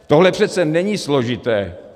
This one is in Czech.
Tohle přece není složité.